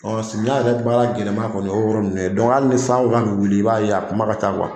Ɔ samiyɛ yɛrɛ baara gɛlɛnma kɔni o y'o yɔrɔ ninnu ye ni san ko k'a bɛ wuli i b'a a kuma ka ca